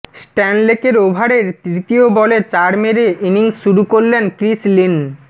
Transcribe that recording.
স্ট্যানলেকের ওভারের তৃতীয় বলে চার মেরে ইনিংস শুরু করলেন ক্রিস লিন